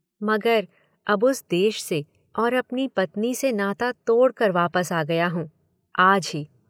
मगर अब उस देश से और अपनी पत्नी से नाता तोड़ कर वापस आ गया हूँ। आज ही